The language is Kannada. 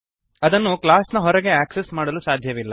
ಅದನ್ನು ಕ್ಲಾಸ್ ನ ಹೊರಗೆ ಆಕ್ಸೆಸ್ ಮಾಡಲು ಸಾಧ್ಯವಿಲ್ಲ